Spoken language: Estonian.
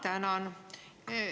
Ma tänan!